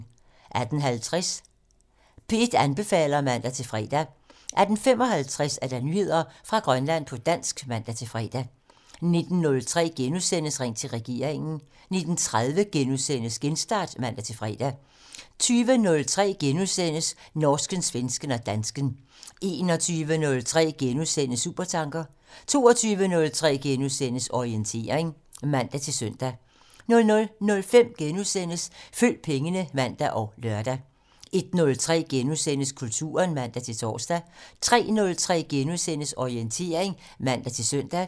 18:50: P1 anbefaler (man-fre) 18:55: Nyheder fra Grønland på dansk (man-fre) 19:03: Ring til regeringen: * 19:30: Genstart *(man-fre) 20:03: Norsken, svensken og dansken *(man) 21:03: Supertanker *(man) 22:03: Orientering *(man-søn) 00:05: Følg pengene *(man og lør) 01:03: Kulturen *(man-tor) 03:03: Orientering *(man-søn)